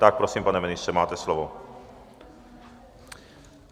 Tak, prosím, pane ministře, máte slovo.